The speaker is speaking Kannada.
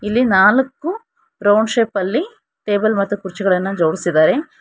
ಇಲ್ಲಿ ನಾಲಕ್ಕೂ ರೌಂಡ್ ಶೇಪಲ್ಲಿ ಟೇಬಲ್ ಮತ್ತು ಕುರ್ಚಿಗಳನ್ನ ಜೋಡ್ಸಿದಾರೆ.